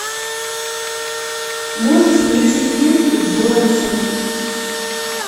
можешь включить ленту бронсон